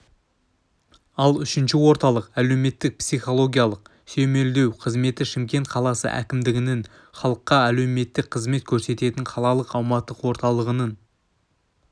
ал үшінші орталық әлеуметтік-психологиялық сүйемелдеу қызметі шымкент қаласы әкімдігінің халыққа әлеуметтік қызмет көрсететін қалалық аумақтық орталығының